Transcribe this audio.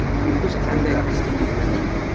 O‘qish qanday tashkil etiladi?